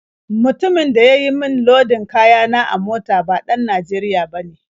Mutumin da ya yi min lodin kaya na a mota ba ɗan Najeriya bane.